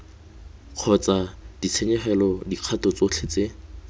kgotsa ditshenyegelo dikgato tsotlhe tse